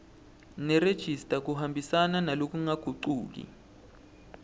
nerejista kuhambisana ngalokungagucuki